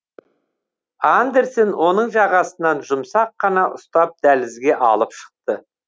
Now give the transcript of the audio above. андерсен оның жағасынан жұмсақ қана ұстап дәлізге алып шықты